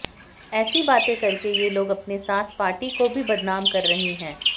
ऐसी बातें करके ये लोग अपने साथ पार्टी को भी बदनाम कर रही हैं